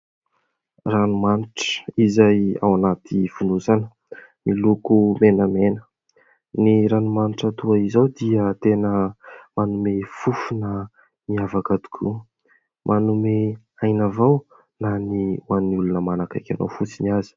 Ranomanitra izay ao anaty fonosana miloko menamena ny ranomanitra toa izao dia tena manome fofona miavaka tokoa manome aina vao na ny ho an'ny olona manakaiky anao fotsiny aza.